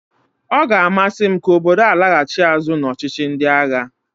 Ọ ga-amasị m ka obodo a laghachi azụ n'ọchịchị ndị agha